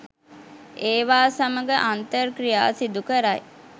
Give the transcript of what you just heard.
ඒවා සමඟ අන්තර් ක්‍රියා සිදුකරයි.